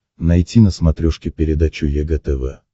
найти на смотрешке передачу егэ тв